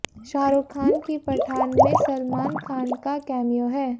शाहरुख खान की पठान में सलमान खान का कैमियो है